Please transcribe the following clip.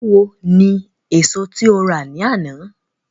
Báwo ni èso tí o rà ní àná?